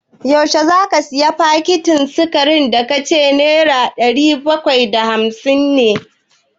Yaushe za ka sayi fakitin sikarin da ka ce nera ɗari bakwai da hamsin ne?